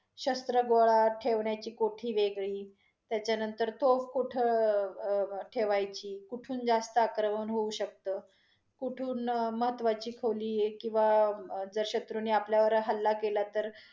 शस्त्र गोळा ठेवण्याची कोठी वेगळी, त्याच्यानंतर तोफ कुठ अ~ ठेवायची, कुठून जास्त आक्रमण होऊ शकतं, कुठून महत्त्वाची खोली किंवा जर शत्रूंनी आपल्यावर हलला केला तर